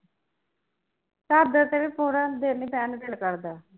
ਚਾਦਰ ਤੇ ਵੀ ਪੂਰਾ ਦਿਨ ਨੀ ਬਹਿਣ ਨੂੰ ਦਿਲ ਕਰਦਾ